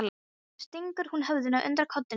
Síðan stingur hún höfðinu undir koddann sinn.